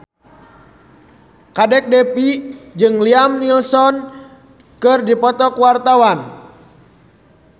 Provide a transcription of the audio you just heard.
Kadek Devi jeung Liam Neeson keur dipoto ku wartawan